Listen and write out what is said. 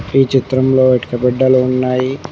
ఈ చిత్రంలో ఇటుక బెడ్డలు ఉన్నాయి.